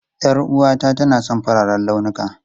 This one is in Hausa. Yar'uwata tana son fararen launuka.